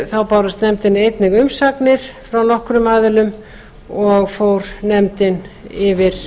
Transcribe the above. þá bárust nefndinni einnig umsagnir frá nokkrum aðilum og fór nefndin yfir